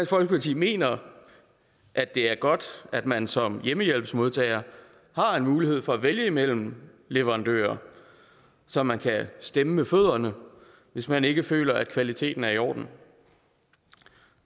folkeparti mener at det er godt at man som hjemmehjælpsmodtager har mulighed for at vælge imellem leverandører så man kan stemme med fødderne hvis man ikke føler at kvaliteten er i orden